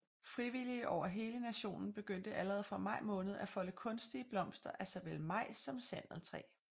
Frivillige over hele nationen begyndte allerede fra maj måned at folde kunstige blomster af såvel majs som sandeltræ